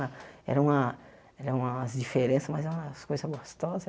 Era uma era umas diferenças, mas é umas coisas gostosas.